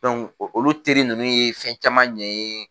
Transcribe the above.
olu teri ninnu ye fɛn caman ɲɛ n ye